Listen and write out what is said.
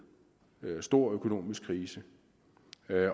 og stor økonomisk krise